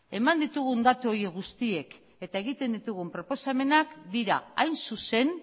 eman ditugun datu horiek guztiek eta egiten ditugun proposamenak dira hain zuzen